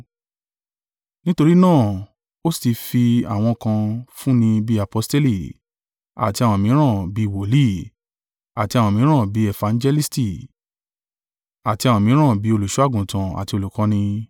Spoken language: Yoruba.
Nítorí náà ó sì ti fi àwọn kan fún ni bí aposteli; àti àwọn mìíràn bí i wòlíì; àti àwọn mìíràn bí efangelisti, àti àwọn mìíràn bí olùṣọ́-àgùntàn àti olùkọ́ni.